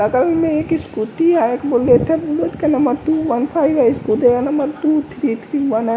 बगल में एक स्कूटी है का number two one five scooty का number two three three one.